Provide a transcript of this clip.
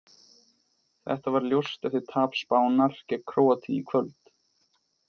Þetta varð ljóst eftir tap Spánar gegn Króatíu í kvöld.